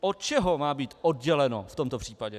Od čeho má být odděleno v tomto případě?